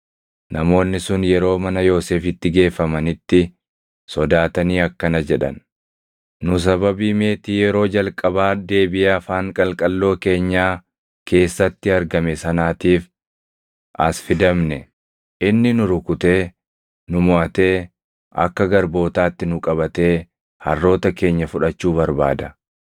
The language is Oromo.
Namoonni sun yeroo mana Yoosefitti geeffamanitti sodaatanii akkana jedhan; “Nu sababii meetii yeroo jalqabaa deebiʼee afaan qalqalloo keenyaa keessatti argame sanaatiif as fidamne; inni nu rukutee, nu moʼatee, akka garbootaatti nu qabatee harroota keenya fudhachuu barbaada.”